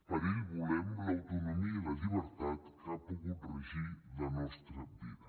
per a ell volem l’autonomia i la llibertat que ha pogut regir la nostra vida